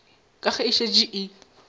ke ge e šetše e